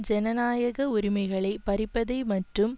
ஜனநாயக உரிமைகளை பறிப்பதை மற்றும்